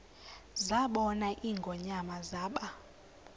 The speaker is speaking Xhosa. zabona ingonyama zaba